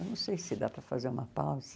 Eu não sei se dá para fazer uma pausa.